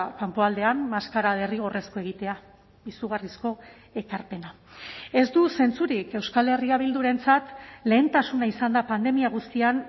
kanpoaldean maskara derrigorrezkoa egitea izugarrizko ekarpena ez du zentzurik euskal herria bildurentzat lehentasuna izan da pandemia guztian